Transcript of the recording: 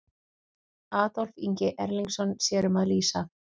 Adolf Ingi Erlingsson sér um að lýsa.